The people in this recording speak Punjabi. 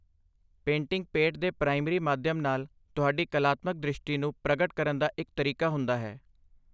ਪੇਂਟਿੰਗ ਪੇਂਟ ਦੇ ਪ੍ਰਾਇਮਰੀ ਮਾਧਿਅਮ ਨਾਲ ਤੁਹਾਡੀ ਕਲਾਤਮਕ ਦ੍ਰਿਸ਼ਟੀ ਨੂੰ ਪ੍ਰਗਟ ਕਰਨ ਦਾ ਇੱਕ ਤਰੀਕਾ ਹੁੰਦਾ ਹੈ।